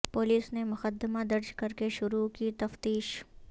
police نے مقدمہ درج کر کے شروع کی تفتیش